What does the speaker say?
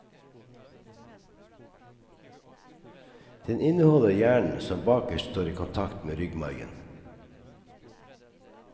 Den inneholder hjernen som bakerst står i kontakt med ryggmargen.